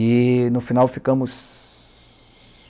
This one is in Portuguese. E, no final, ficamos